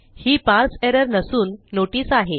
ही parse error नसून notice आहे